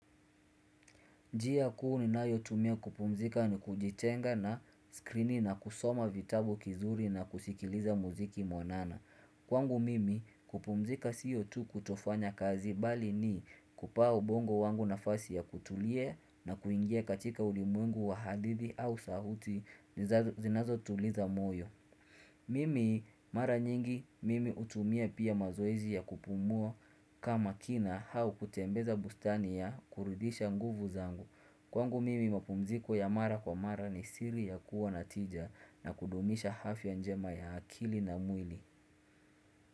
Njia kuu ninayo tumia kupumzika ni kujitenga na skrini na kusoma vitabu kizuri na kusikiliza muziki mwanana. Kwangu mimi kupumzika siyo tu kutofanya kazi bali ni kupa ubongo wangu nafasi ya kutulia na kuingia katika ulimwengu wa hadithi au sauti zinazo tuliza moyo. Mimi mara nyingi mimi hutumia pia mazoezi ya kupumua kama kina au kutembeza bustani ya kurudisha nguvu zangu Kwangu mimi mapumziko ya mara kwa mara ni siri ya kuwa na tija na kudumisha afya njema ya akili na mwili.